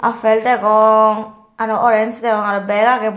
appel degong aro orange degong aro bek agey buo.